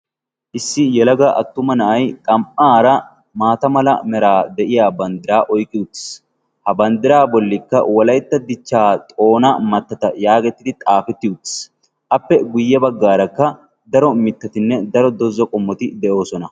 Issi yalaga attuma na'ay xam"aara maata mala meraa de'iya banddira oyqqi utiis. ha banddiraa bollikka walaitta dichchaa xoona mattata yaagettidi xaafetti uttiis. appe guyye baggaarakka daro mittatinne daro dozzo qommoti de'oosona.